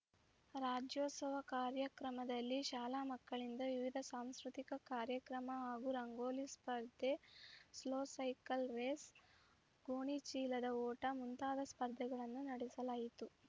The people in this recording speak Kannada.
ರಾಜ್ಯೋತ್ಸವ ಕಾರ್ಯಕ್ರಮದಲ್ಲಿ ಶಾಲಾ ಮಕ್ಕಳಿಂದ ವಿವಿಧ ಸಾಂಸ್ಕೃತಿಕ ಕಾರ್ಯಕ್ರಮ ಹಾಗೂ ರಂಗೋಲಿ ಸ್ಪರ್ಧೆ ಸ್ಲೋ ಸೈಕಲ್‌ ರೇಸ್‌ ಗೋಣಿಚೀಲದ ಓಟ ಮುಂತಾದ ಸ್ಪರ್ಧೆಗಳನ್ನು ನಡೆಸಲಾಯಿತು